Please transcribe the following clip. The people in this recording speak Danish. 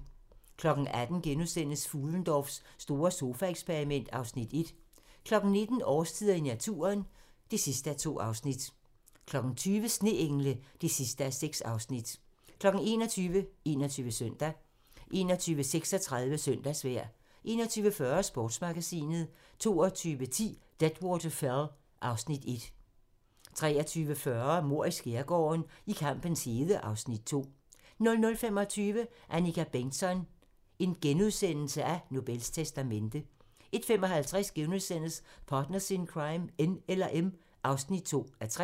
18:00: Fuhlendorffs store sofaeksperiment (Afs. 1)* 19:00: Årstiderne i naturen (2:2) 20:00: Sneengle (6:6) 21:00: 21 Søndag 21:36: Søndagsvejr 21:40: Sportsmagasinet 22:10: Deadwater Fell (Afs. 1) 23:40: Mord i skærgården: I kampens hede (Afs. 2) 00:25: Annika Bengtzon: Nobels testamente * 01:55: Partners in Crime: N eller M (2:3)*